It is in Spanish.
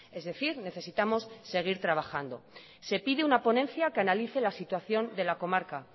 es decir necesitamos seguir trabajando se pide una ponencia que analice la situación de la comarca